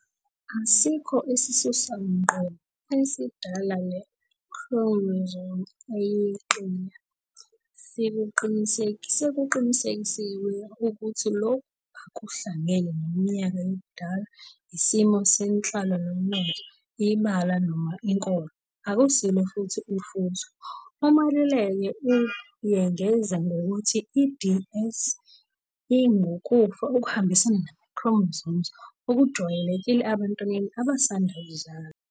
Asikho isisusa ngqo esidala le-chromosome eyeqile. Sekuqinisekisiwe ukuthi lokhu akuhlangene neminyaka yobudala, isimo senhlalo nomnotho, ibala noma inkolo. Akusilo futhi ufuzo. "UMaluleka uyengeza ngokuthi i-DS ingukufa okuhambisana nama-chromosome okujwayelekile ebantwaneni abasanda kuzalwa.